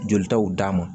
Jolitaw d'a ma